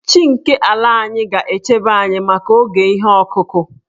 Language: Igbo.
Chi nke ala anyị ga-echebe anyị maka oge ihe ọkụkụ.